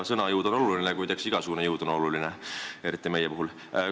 Sõna jõud on oluline, kuid eks igasugune jõud on oluline – eriti meie puhul.